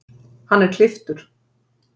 Hann er klipptur